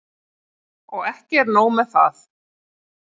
Og ekki er nóg með það.